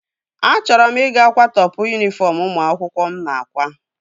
Achọrọ m ị ga-kwatopu yunifọm ụmụ akwụkwọ mụ na-akwa